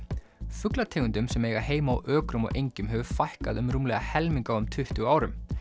fuglategundum sem eiga heima á ökrum og engjum hefur fækkað um rúmlega helming á um tuttugu árum